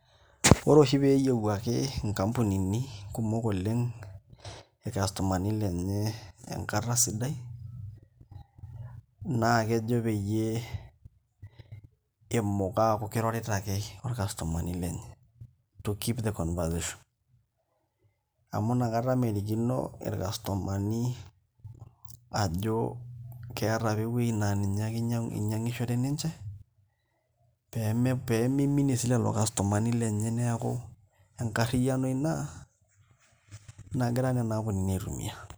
Ore oshi pee eyiewuaki nkampunini kumok oleng' irkastomani lenye enkata sidai naa kejo peyie etum aataa kirorita ake orkastomani lenye to keep the conversation amu nakata merikino irkastomani ajo keeta ake ewueji naa ninye inyiangishore ninche pee miminie naa sii lelo kastomani lenye neeku enkarriyiano ina nagira nena ampunini aitumiaa.